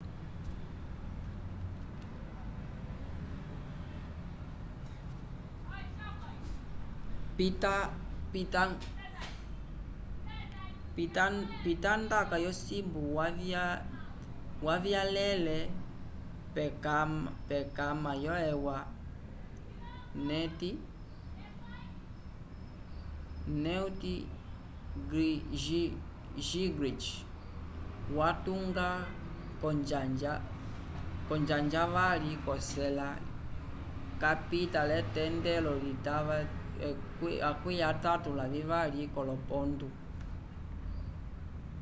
pitandaka yosimbu wavyalele pkamara yo-eua newt gingrich watunda konjanja yavali k'ocela capita l'etendelo itava 32 k'olopontu